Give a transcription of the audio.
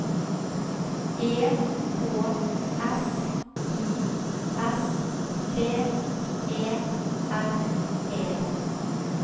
E K S I S T E R E